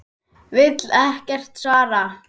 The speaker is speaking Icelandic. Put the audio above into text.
Vill ekkert svar.